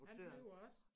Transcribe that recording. Han flyver også